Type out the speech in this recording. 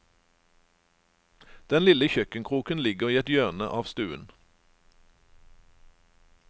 Den lille kjøkkenkroken ligger i et hjørne av stuen.